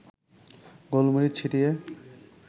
গোলমরিচ ছিটিয়ে